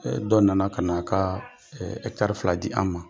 Dɔ nana ka na a ka fila di an ma.